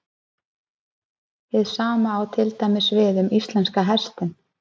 Hið sama á til dæmis við um íslenska hestinn.